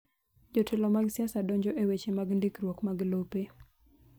Jotelo mag siasa donjo e weche mag ndikruok mag lope.